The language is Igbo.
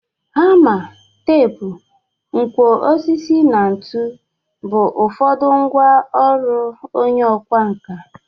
Hama, teepu, nkwọ osisi na ntu bụ ụfọdụ ngwa ọrụ onye ọkwa nka.